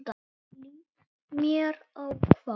Líst mér á hvað?